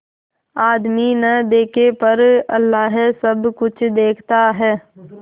आदमी न देखे पर अल्लाह सब कुछ देखता है